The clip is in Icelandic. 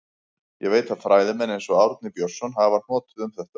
Ég veit að fræðimenn, eins og Árni Björnsson, hafa hnotið um þetta.